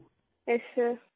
yes sir